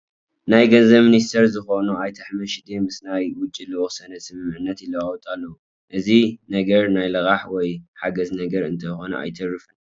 ናይ ገንዘብ ሚኒስትር ዝኾኑ ኣይተ ኣሕመድ ሺዴ ምስ ናይ ውጪ ልኡኽ ሰነድ ስምምዕነት ይለዋወጡ ኣለዉ፡፡ እዚ ነገር ናይ ልቃሕ ወይ ሓገዝ ነገር እንተይኮነ ኣይተርፍን፡፡